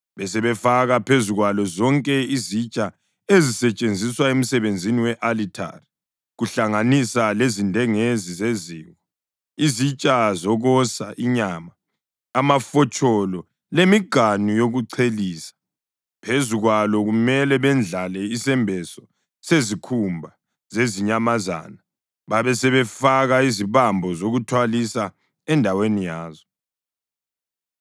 Besebefaka phezu kwalo zonke izitsha ezisetshenziswa emsebenzini we-alithari, kuhlanganisa lezindengezi zeziko, izitsha zokosa inyama, amafotsholo lemiganu yokuchelisa. Phezu kwalo kumele bendlale isembeso sezikhumba zezinyamazana babe sebefaka izibambo zokuthwalisa endaweni yazo.